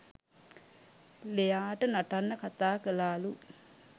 ලෙයාට නටන්න කතා කළාලු